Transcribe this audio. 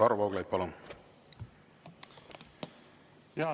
Varro Vooglaid, palun!